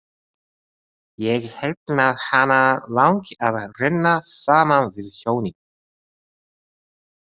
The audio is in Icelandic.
Ég held að hana langi að renna saman við sjóinn.